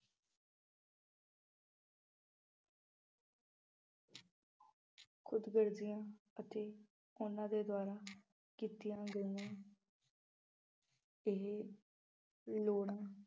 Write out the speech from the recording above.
ਖੁਦਗਰਜੀਆਂ ਅਤੇ ਉਹਨਾਂ ਦੇ ਦੁਆਰਾ ਕੀਤੀਆਂ ਗਈਆਂ ਇਹ ਲੋੜਾਂ